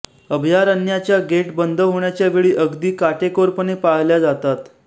अभयारण्याच्या gate बंद होण्याच्या वेळा अगदी काटेकोरपणे पाळल्या जातात